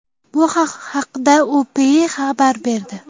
Bu haqda UPI xabar berdi .